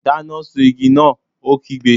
Dáná sun igi náà! Ó kígbe.